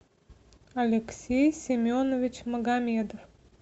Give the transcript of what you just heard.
алексей семенович магомедов